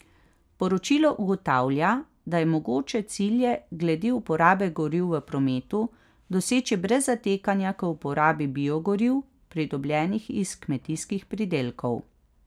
Poročilo ugotavlja, da je mogoče cilje glede uporabe goriv v prometu doseči brez zatekanja k uporabi biogoriv, pridobljenih iz kmetijskih pridelkov.